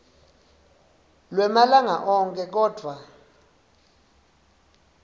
lwemalanga onkhe kodvwa